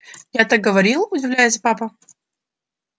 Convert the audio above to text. я так говорил удивляясь папа